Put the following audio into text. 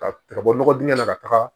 Ka ka bɔ nɔgɔ dingɛ la ka taga